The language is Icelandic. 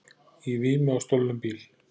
Í vímu á stolnum bíl